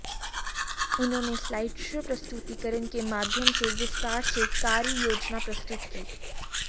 उन्होंने slide show प्रस्तुतिकरण के माध्यम से विस्तार से कार्ययोजना प्रस्तुत की